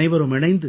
நாமனைவரும் இணைந்து